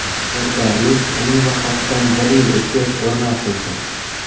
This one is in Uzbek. Yodgorlik uning vafotidan bir yil o‘tgach o‘rnatildi.